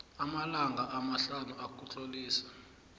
amalanga amahlanu ukutlolisa